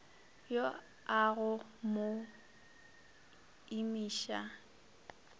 yo a go mo imiša